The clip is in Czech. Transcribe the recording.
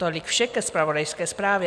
Tolik vše ke zpravodajské zprávě.